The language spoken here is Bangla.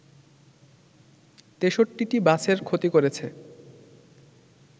৬৩টি বাসের ক্ষতি করেছে